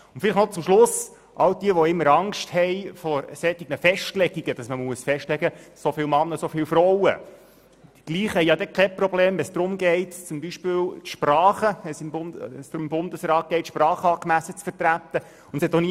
Und noch eine Schlussbemerkung: Diejenigen, die immer Angst haben, wenn man die Anzahl Männer und Frauen festlegen muss, haben kein Problem, wenn es darum geht, dass beispielsweise die Sprachregionen im Bundesrat angemessen vertreten werden.